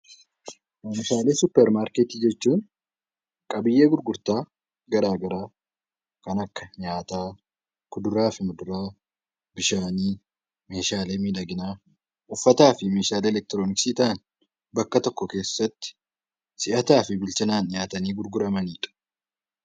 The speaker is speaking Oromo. Oomishaalee suupparmaarkeetii jechuun qabiyyee gurgurtaa garaagaraa kan akka nyaataa, kuduraa fi muduraa meeshaalee miidhaginaa uffataa fi meeshaalee elektroniksii bakka tokko keessatti si'ataa fi bilchinaan gurguramanidha